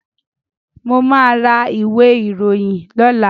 Mo máa ra ìwé ìròyìn lọ́làá.